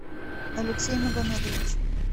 алексей магомедович